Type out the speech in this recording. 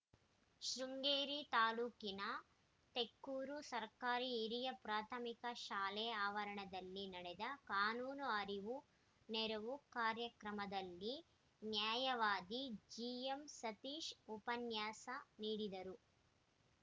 ಶೃಂಗೇರಿ ತಾಲೂಕಿನ ತೆಕ್ಕೂರು ಸರ್ಕಾರಿ ಹಿರಿಯ ಪ್ರಾಥಮಿಕ ಶಾಲೆ ಆವರಣದಲ್ಲಿ ನಡೆದ ಕಾನೂನು ಅರಿವುನೆರವು ಕಾರ್ಯಕ್ರಮದಲ್ಲಿ ನ್ಯಾಯವಾದಿ ಜಿಎಂಸತೀಶ್‌ ಉಪನ್ಯಾಸ ನೀಡಿದರು